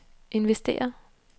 investere